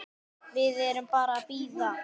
Við erum bara að bíða.